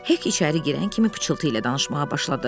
Hek içəri girən kimi pıçıltı ilə danışmağa başladı.